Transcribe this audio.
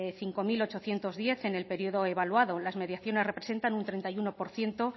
cinco mil ochocientos diez en el período evaluado las mediaciones representan un treinta y uno por ciento